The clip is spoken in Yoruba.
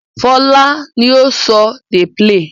Fọlá ni ó ń sọ "dey play".